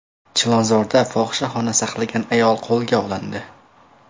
Chilonzorda fohishaxona saqlagan ayol qo‘lga olindi.